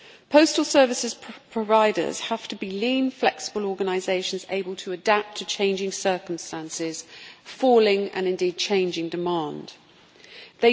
Postal services providers have to be lean, flexible organisations able to adapt to changing circumstances, and changing and indeed falling demand.